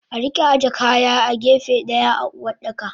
Arika aje kaya a gefe daya a Uwardaka.